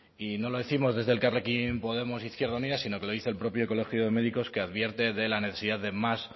y no lo décimos desde elkarrekin podemos izquierda unida sino que lo dice el propio colegio de médicos que advierte de la necesidad de más